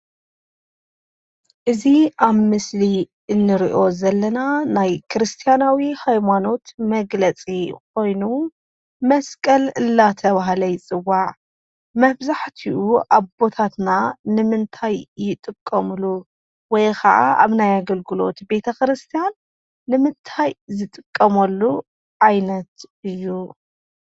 እዙይ ኣብ ምስሊ እንርዮ ዘለና ናይ ክርስቲያናዊ ሃይማኖት መግለጺ ኾይኑ መስቀል እላተብሃለ ይጽዋዕ። መብዛሕትኡ ኣቦታትና ንምንታይ ይጥቀሙሉ ወይ ኸዓ ኣብ ናይ ኣገልግሎት ቤተ ክርስቲያን ንምንታይ ዝጥቀሞሉ ኣይነት እዩ?